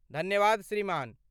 धन्यवाद श्रीमान।